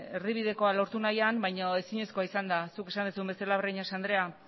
erdibidekoa lortu nahian baino ezinezkoa izan da zuk esan duzun bezala breñas andrea